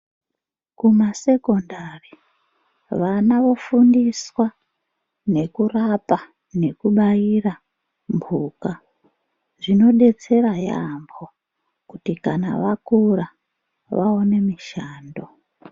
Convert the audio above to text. Kumasekondari vana vofundiswa, nekurapa nekubaira mbuka. Zvinodetsera yaamho kuti kana vakura vaone mishando.